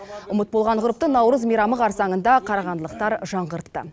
ұмыт болған ғұрыпты наурыз мейрамы қарсаңында қарағандылықтар жаңғыртты